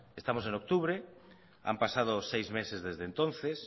estamos en octubre han pasado seis meses desde entonces